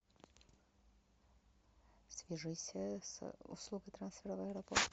свяжись с услугой трансфера в аэропорт